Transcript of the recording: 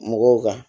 Mɔgɔw kan